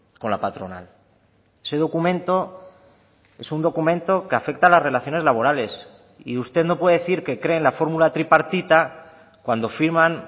con la patronal ese documento es un documento que afecta a las relaciones laborales y usted no puede decir que cree en la fórmula tripartita cuando firman